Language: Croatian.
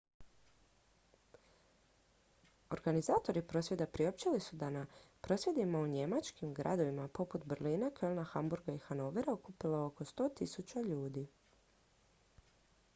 organizatori prosvjeda priopćili su da se na prosvjedima u njemačkim gradovima poput berlina kölna hamburga i hanovera okupilo oko 100.000 ljudi